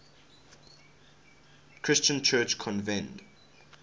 christian church convened